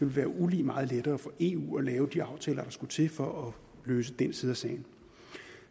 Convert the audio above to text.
være ulig meget lettere for eu at lave de aftaler der skulle til for at løse den side af sagen